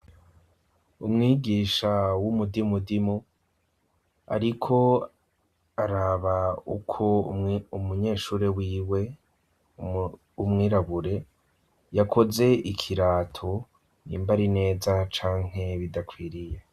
Umwigisha w'umudimudimu, ariko araba uko umunyeshure wiwe w'umwirabure yakoze ikirato, nyimba ari neza canke bidakwiriye.